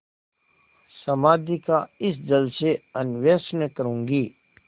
समाधि का इस जल से अन्वेषण करूँगी